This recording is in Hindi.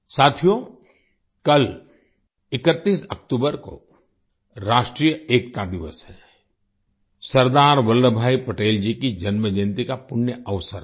साथियो कल 31 अक्टूबर को राष्ट्रीय एकता दिवस है सरदार वल्लभ भाई पटेल जी की जन्मजयन्ती का पुण्य अवसर है